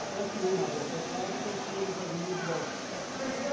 Até que uma dessas fábricas tinha uma academia de boxe.